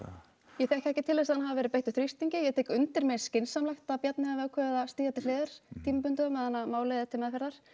ég þekki ekki til þess að hann hafi verið beittur þrýstingi ég tek undir mér finnst skynsamlegt að Bjarni hafi ákveðið að stíga til hliðar tímabundið á meðan að málið er til meðferðar